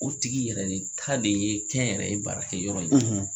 U tigi yɛrɛ de ta ye kɛnyɛrɛye baarakɛ yɔrɔ in ye.